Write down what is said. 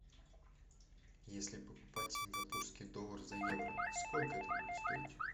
если покупать сингапурский доллар за евро сколько это будет стоить